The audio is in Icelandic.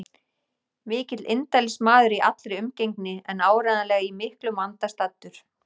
Mikill indælismaður í allri umgengni en áreiðanlega í miklum vanda staddur.